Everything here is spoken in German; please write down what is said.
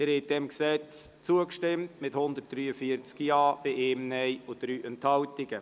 Sie haben diesem Gesetz zugestimmt mit 143 Ja-Stimmen, 1 Nein-Stimme und 3 Enthaltungen.